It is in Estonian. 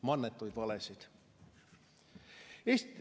Mannetuid valesid.